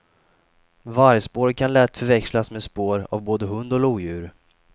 Vargspår kan lätt förväxlas med spår av både hund och lodjur.